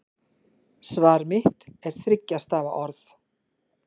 Svar mitt er þriggja stafa orð